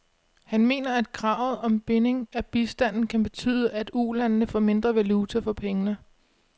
Han mener, at kravet om binding af bistanden kan betyde, at ulandene får mindre valuta for pengene.